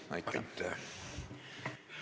Aitäh!